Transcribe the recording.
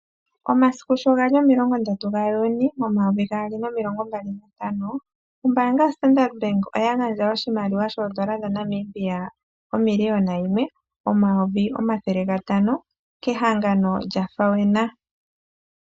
Omasiku sho gali omilongo ndatu gaJuuni momayovi gaali nomilongo ntano, ombaanga yoStandard bank oya gandja oshimaliwa shaNamibia omiliyona yimwe, omayovi omathele gantano kehangano lya FAWENA.